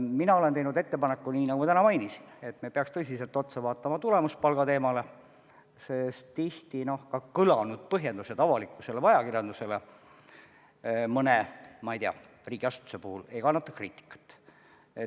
Mina olen teinud ettepaneku, nii nagu ma täna mainisin, et me peaks tõsiselt otsa vaatama tulemuspalga teemale, sest tihti on selle põhjendused avalikkusele, ajakirjandusele mõne riigiasutuse puhul sellised, et ei kannata kriitikat.